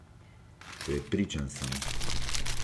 Prepričan sem!